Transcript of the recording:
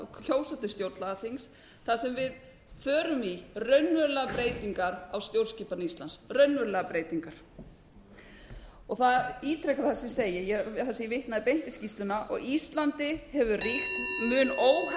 kjósa til stjórnlagaþings þar sem við förum í raunverulegar breytingar á stjórnskipan íslands raunverulegar breytingar ég ítreka það sem ég segi þar sem ég vitnaði beint í skýrsluna á íslandi hefur ríkt mun